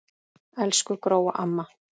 Elsku Gróa amma.